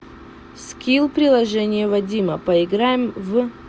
скилл приложение вадима поиграем в